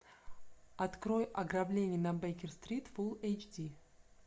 открой ограбление на бейкер стрит фулл эйч ди